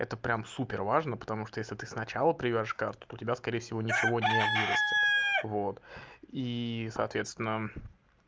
это прям супер важно потому что если ты сначала привяжешь карту то у тебя скорее всего ничего не вырастит вот и соответственно